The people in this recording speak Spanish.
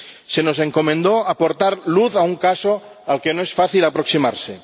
Se nos encomendó aportar luz a un caso al que no es fácil aproximarse.